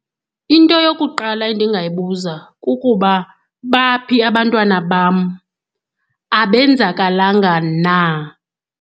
Into yokuqala endingayibuza kukuba baphi abantwana bam, abenzakalanga na.